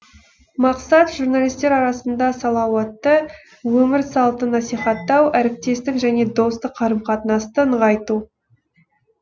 мақсат журналистер арасында салауатты өмір салтын насихаттау әріптестік және достық қарым қатынасты нығайту